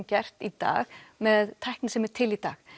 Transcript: gert í dag með tækni sem er til í dag